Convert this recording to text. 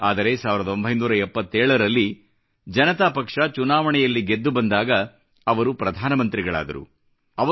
ಆದರೆ 1977 ರಲ್ಲಿ ಜನತಾ ಪಕ್ಷ ಚುನಾವಣೆಯಲ್ಲಿ ಗೆದ್ದು ಬಂದಾಗ ಅವರು ಪ್ರಧಾನ ಮಂತ್ರಿಗಳಾದರು